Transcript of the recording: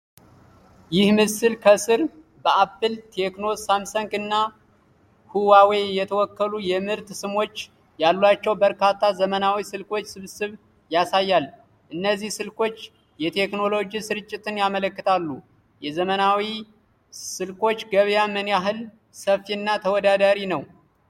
ይህ ምስል ከስር በአፕል፣ ቴክኖ፣ ሳምሰንግ እና ሁዋዌ የተወከሉ የምርት ስሞች ያሏቸው በርካታ ዘመናዊ ስልኮች ስብስብ ያሳያል። እነዚህ ስልኮች የቴክኖሎጂ ስርጭትን ያመለክታሉ። የዘመናዊ ስልኮች ገበያ ምን ያህል ሰፊና ተወዳዳሪ ነውን?